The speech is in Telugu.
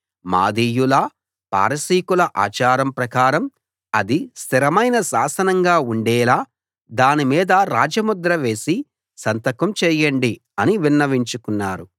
మాదీయుల పారసీకుల ఆచారం ప్రకారం అది స్థిరమైన శాసనంగా ఉండేలా దాని మీద రాజముద్ర వేసి సంతకం చేయండి అని విన్నవించుకున్నారు